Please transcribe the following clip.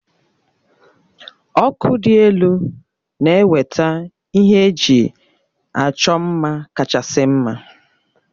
Ọkụ dị elu na-eweta ihe eji achọ mma kachasị mma